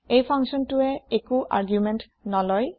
এই functionটোৱে একো আৰ্গুমেণ্ট নলয়